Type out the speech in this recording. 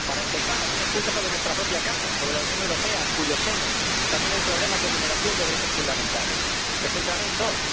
Para empezar, algunos puntos sobre nuestra propia casa, sobre la Unión Europea, en cuyo seno también hay problemas de vulneración de derechos fundamentales. Me centraré en dos.